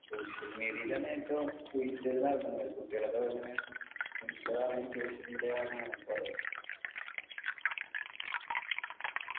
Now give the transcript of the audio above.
social media ലാണ് ഏറ്റവും suicide നടക്കുന്നത് കുട്ടികളൊക്കെ അങ്ങനെ ആവുന്ന ഈ social media കാരണാണ് കൊറേ